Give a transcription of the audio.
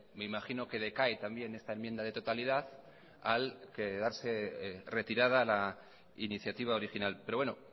me imagino que decaé también esta enmienda de totalidad al quedarse retirada la iniciativa original pero bueno